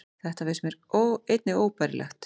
Þetta finnst mér einnig óbærilegt